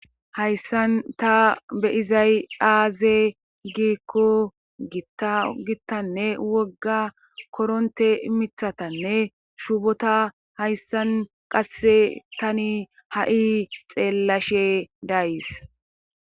hayssan ta be izay7aaze giikko gittanne wogga koronte mithatanne shuubota hayssan qasse tani ha7i xeellashe days